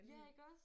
Ja iggås?